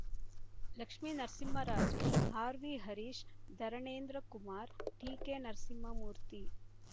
Lakshminarasimharaju RV Harish Dharanendrakumar TK Narasimhamurthy